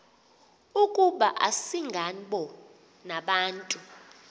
ukuba asingabo nabantu